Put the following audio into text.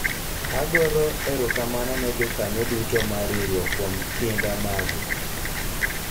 agoro erokamano ne jokanyo duto mar riwruok kuom kinda magu